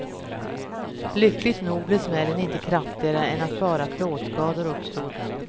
Lyckligt nog blev smällen inte kraftigare än att bara plåtskador uppstod.